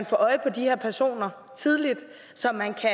få øje på de her personer så man kan